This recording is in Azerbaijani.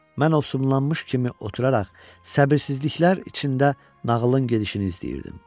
Mən ovsunlanmış kimi oturaraq, səbirsizliklər içində nağılın gedişini izləyirdim.